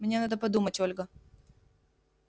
мне надо подумать ольга